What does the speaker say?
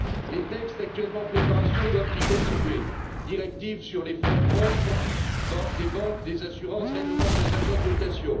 Les textes actuellement en préparation doivent y contribuer directives sur les fonds propres des banques et des assurances, règlements sur les agences de notation.